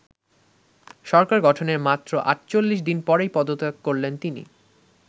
সরকার গঠনের মাত্র আটচল্লিশ দিন পরেই পদত্যাগ করলেন তিনি।